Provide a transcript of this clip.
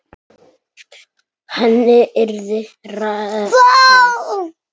Henni yrði refsað.